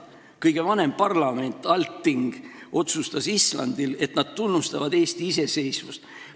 Kõige vanem parlament Althing otsustas Islandil, et nad tunnustavad Eesti iseseisvust.